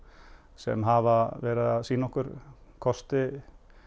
sem hafa verið að sýna okkur kosti